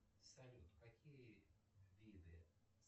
салют какие виды